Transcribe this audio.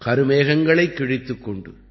கருமேகங்களைக் கிழித்துக் கொண்டு